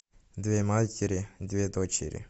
две матери две дочери